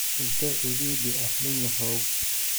intee cidhiidhi ah ninyahow?